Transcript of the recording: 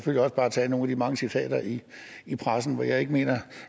bare tage nogle af de mange citater i i pressen hvor jeg ikke mener